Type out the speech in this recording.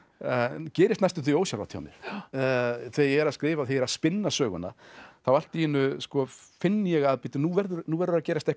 gerist næstum því ósjálfrátt hjá mér þegar ég er að skrifa og spinna söguna þá allt í einu finn ég að bíddu nú verður nú verður að gerast eitthvað